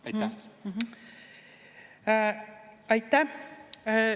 Aitäh!